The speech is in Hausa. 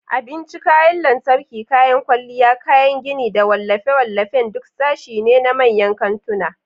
Abinci, kayan lantarki, kayan kwalliya, kayan gini, da wallafe-wallafen duk sashe ne na manyan kantuna.